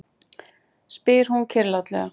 spyr hún kyrrlátlega.